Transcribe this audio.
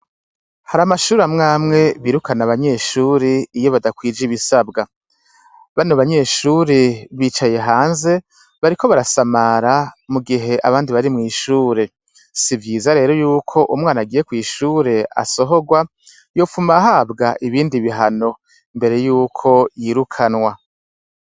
Har' amashur' amw' amwe birukan' abanyeshur' iyo badakwij' ibisabwa, bano banyeshure bicaye hanze, bariko barasamara mugih' abandi barimwishure. Sivyiza rero yuk' umwan' agiye kwishure asohogwa, yotum' ahabw' ibindi bihano, imbere yuko yirukanwa.